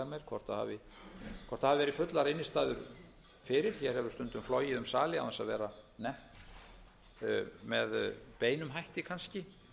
meir hvort hafi verið fullar innstæður fyrir hér hefur stundum flogið um sali án þess að vera nefnt með beinum hætti kannski